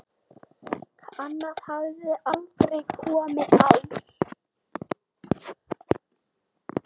Annar hafði aldrei komið á